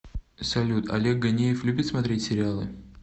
салют олег ганеев любит смотреть сериалы